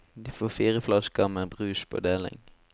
De får fire flasker med brus på deling.